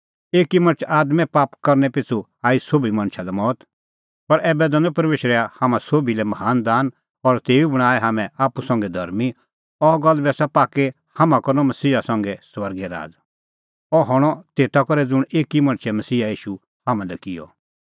एकी मणछ आदमे पाप करनै पिछ़ू आई सोभी मणछा लै मौत पर ऐबै दैनअ परमेशरै हाम्हां सोभी लै महान दान और तेऊ बणांऐं हाम्हैं आप्पू संघै धर्मीं अह गल्ल बी आसा पाक्की हाम्हां करनअ मसीहा संघै स्वर्गै राज़ अह हणअ तेता करै ज़ुंण एकी मणछै मसीहा ईशू हाम्हां लै किअ